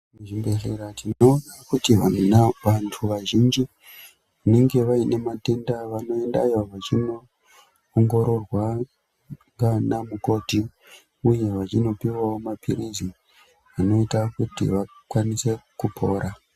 Muzvibhedhlera tinoona kuti vana vantu vazhinji nenge vaine matenda vanoendayo vachinoonhororwa ngaana mukoti uye vachinopuwawo mapirizi anoita kuti vakwanise kupora.